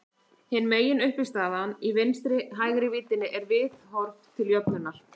Hin meginuppistaðan í vinstri-hægri víddinni er viðhorf til jöfnuðar.